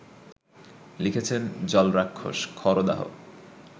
লিখেছেন জলরাক্ষস, খরদাহ